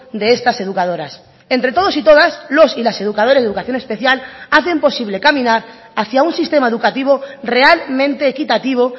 de estas educadoras entre todos y todas los y las educadores de educación especial hacen posible caminar hacia un sistema educativo realmente equitativo